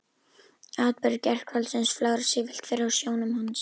Atburðir gærkvöldsins flögra sífellt fyrir sjónum hans.